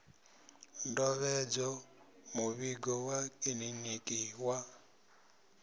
ndovhedzo muvhigo wa kiḽiniki wa